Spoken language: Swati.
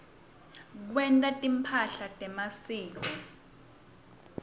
kwenta timphahla temasiko